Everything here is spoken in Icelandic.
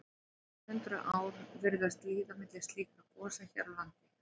Nokkur hundruð ár virðast líða milli slíkra gosa hér á landi.